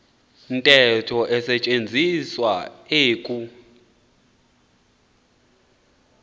ntetho isetyenziswa eku